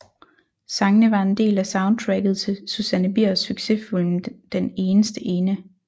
Sangene var en del af soundtracket til Susanne Biers succesfilm Den eneste ene